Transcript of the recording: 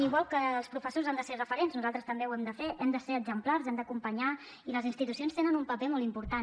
igual que els professors han de ser referents nosaltres també ho hem de fer hem de ser exemplars hem d’acompanyar i les institucions tenen un paper molt important